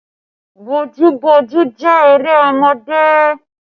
Bojúboojú jẹ́ eré ọmọdé